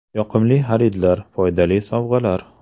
Yoqimli xaridlar foydali sovg‘alar!.